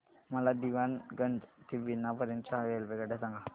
मला दीवाणगंज ते बिना पर्यंत च्या रेल्वेगाड्या सांगा